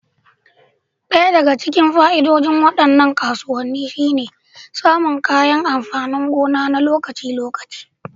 Ɗaya daga cikin fa'idodin waɗannan kasuwanni shine samun kayan amfanin gona na lokaci-lokaci.